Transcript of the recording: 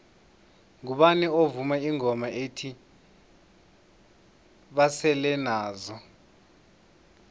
ngubani ovuma ingoma ethi basele nazo